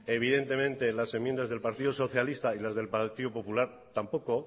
evidentemente las enmiendas del partido socialista y las del partido popular tampoco